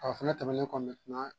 O fana tɛmɛnen kɔ